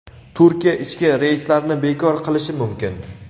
Turkiya ichki reyslarni bekor qilishi mumkin.